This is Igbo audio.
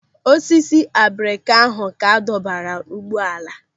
Osisi abrika ahụ ka adọbara ụgbọala.